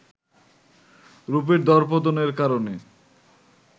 রুপির দরপতনের কারণে